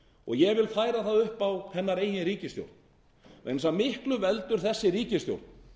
og ég vil færa það upp á hennar eigin ríkisstjórn vegna þess að miklu veldur þessi ríkisstjórn